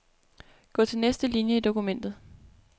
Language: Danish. Gå til næste linie i dokumentet.